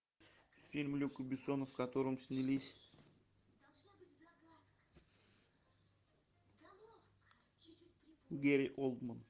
фильм люка бессона в котором снялись гэри олдман